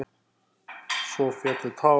Svo féllu tár.